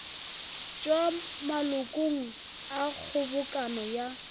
tšwa malokong a kgobokano ya